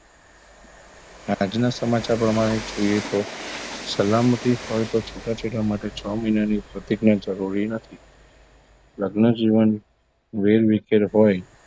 આજના સમાચાર પ્રમાણે જોઈએ તો સલામતી હોય તો છૂટાછેડા માટે છ મહિનાની પ્રતિજ્ઞા જરૂરી નથી લગ્નજીવન વેરવિખેર હોય